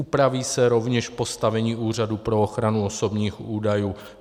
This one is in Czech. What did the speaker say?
Upraví se rovněž postavení Úřadu pro ochranu osobních údajů.